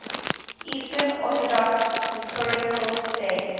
eastern orthodox liturgical days